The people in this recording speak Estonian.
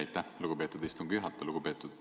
Aitäh, lugupeetud istungi juhataja!